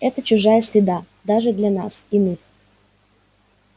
это чужая среда даже для нас иных